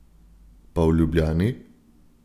Pa v Ljubljani?